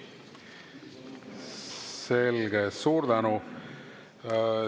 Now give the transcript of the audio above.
Selge, suur tänu!